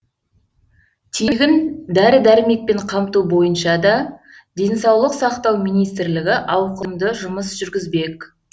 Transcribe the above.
тегін дәрі дәрмекпен қамту бойынша да денсаулық сақтау министрлігі ауқымды жұмыс жүргізбек